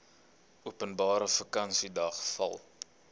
openbare vakansiedag val